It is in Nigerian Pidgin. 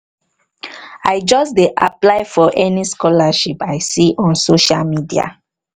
i just dey apply for any scholarship i see on social media